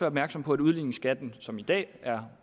opmærksom på at udligningsskatten som i dag er